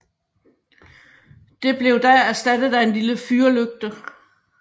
Det blev da erstattet af en lille fyrlygte